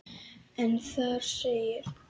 en þar segir